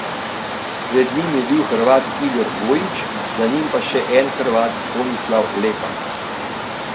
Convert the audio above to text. Pred njim je bil Hrvat Igor Gojić, za njim pa še en Hrvat Tomislav Lepan.